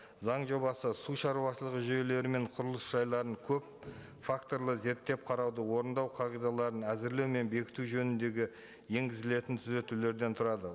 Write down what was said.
заң жобасы сушаруашылығы жүйелері мен құрылыс жайларын көп факторлы зерттеп қарауды орындау қағидаларын әзірлеу мен бекіту жөніндегі енгізілетін түзетулерден тұрады